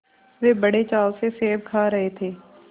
वे बड़े चाव से सेब खा रहे थे